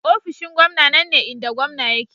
Ofishin gwamna nan ne inda gwamna yake.